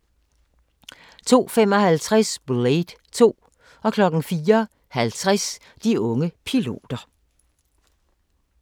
02:55: Blade 2 04:50: De unge piloter